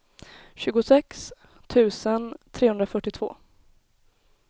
tjugosex tusen trehundrafyrtiotvå